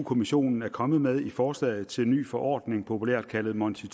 kommissionen er kommet med i forslaget til en ny forordning populært kaldet monti